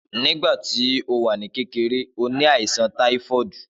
Nígbàtí ó wà ní kékeré, ó ni àìsàn táífọ́ọ̀dù